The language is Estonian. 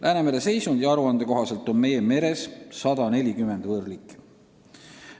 Läänemere seisundi aruande kohaselt on meie meres 140 võõrliiki.